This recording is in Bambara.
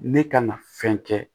Ne ka na fɛn kɛ